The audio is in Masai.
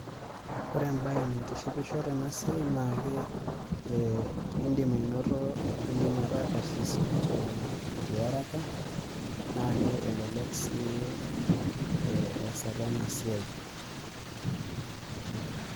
Ore ebae naitishipisho tenasiai naake idim ainoto idim ataa karsis tiaraka, nake elelek si eesata enasiai.